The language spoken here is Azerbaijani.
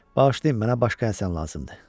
Bağışlayın, mənə başqa Həsən lazımdır.